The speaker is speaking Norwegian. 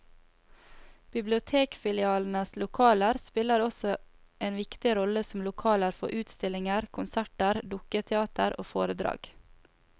Bibliotekfilialenes lokaler spiller også en viktig rolle som lokaler for utstillinger, konserter, dukketeater og foredrag.